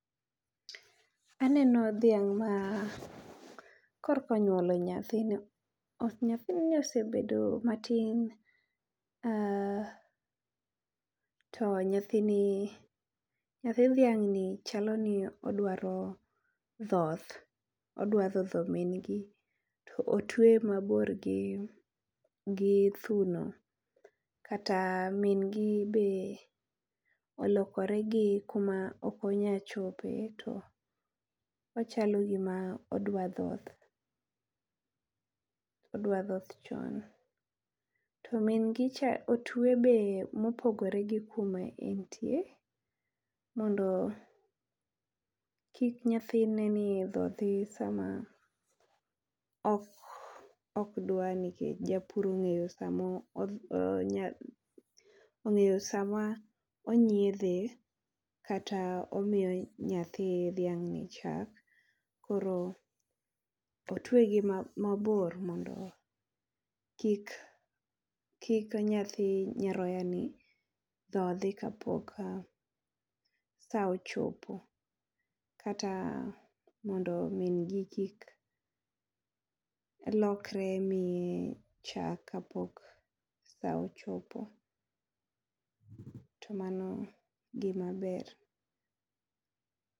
Aneno dhiang ma kor ka onyuolo nyathino. Nyathini osebedo ma tin um to nyathini, nyathi dhiang ni chalo ni odwa dhoth, odwa dhodho min gi. To otweye ma bor gi gi thuno kata min gi be olokore gi kuma ok onya chope to ochalo gi ma odwa dhoth. Odwa dhoth chon to min gi cha otwe be mo opogore gi kuma en tie mondo kik nyathine ni odhodhi e saa ma ok ok dwa nikech, japur ong’eyo saa ma ong’eyo saa ma onyiedhe kata omiyo nyathi dhiang no chak. Koro otweye gi ma bor mondo kik kik nyathi nyaroya ni dhodhi ka pok saa ochopo. Kata mondo min gi kik lokre miye chak ka pok saa ochopo. To mano gi ma ber.